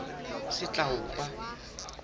setlaopa